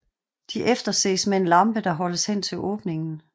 De efterses med en lampe der holdes hen til åbningen